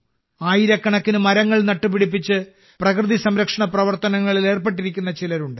ആയിരക്കണക്കിന് മരങ്ങൾ നട്ടുപിടിപ്പിച്ച് പ്രകൃതി സംരക്ഷണ പ്രവർത്തനങ്ങളിൽ ഏർപ്പെട്ടിരിക്കുന്ന ചിലരുണ്ട്